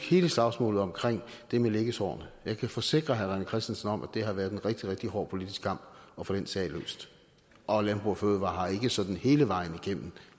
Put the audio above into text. hele slagsmålet om det med liggesårene jeg kan forsikre herre rené christensen om at det har været en rigtig rigtig hård politisk kamp at få den sag løst og landbrug fødevarer har ikke sådan hele vejen igennem